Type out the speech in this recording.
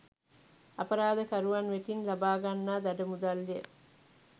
අපරාධකරුවන් වෙතින් ලබා ගන්නා දඩ මුදල් ය.